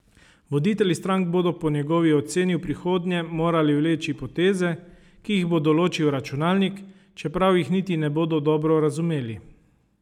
Voditelji strank bodo po njegovi oceni v prihodnje morali vleči poteze, ki jih bo določil računalnik, čeprav jih niti ne bodo dobro razumeli.